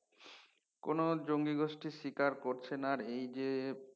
কোন জঙ্গি গোষ্ঠী স্বীকার করছে না রে এই যে